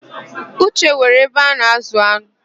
Uche nwere ebe ana-ázụ̀ an̄ụ.